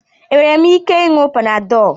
Enwere m ike ị nuo Panadol?